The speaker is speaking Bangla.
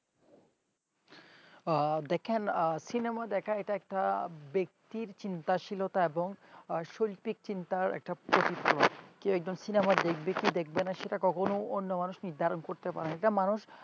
দেখেন cinema দেখা এটা একটা ব্যক্তির চিন্তাশীলতা এবং শৈত্তিক চিন্তার একটা কি একজন cinema দেখবে কি দেখবে না কখনোই এটা অন্য মানুষ নির্ধারণ করতে পারেনা এটা মানুষ